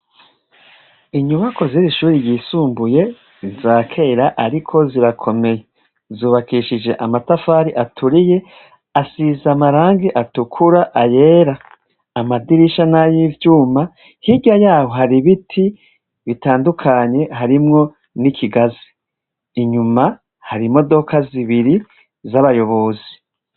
Inyubako z'iri shure ryisumbuye ni iza kera ariko zirakomeye, zubakishije amatafari aturiye asize amarangi atukura, ayera, amadirisha n'ay'ivyuma hirya yaho hari biti bitandukanye harimwo n'ikigazi, inyuma hari modoka zibiri z'abayobozi.